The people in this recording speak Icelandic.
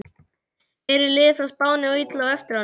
Eru lið frá Spáni og Ítalíu á eftir honum?